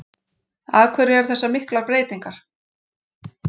Af hverju eru þessar miklar breytingar?